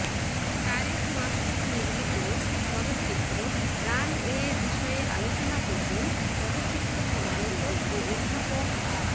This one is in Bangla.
তারেক মাসুদ নির্মিত চলচ্চিত্র রানওয়ে বিষয়ে আলোচনা করবেন চলচ্চিত্র সমালোচক ও অধ্যাপক আ